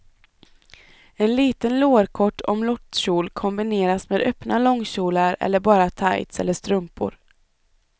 En liten lårkort omlottkjol kombineras med öppna långkjolar eller bara tights eller strumpor.